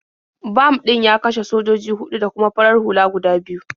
Bam ɗin ya kashe sojoji huɗu da kuma farar hula guda biyu.